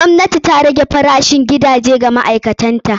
Gwamnati na rage farashin gidaje wa ma'aikatan ta.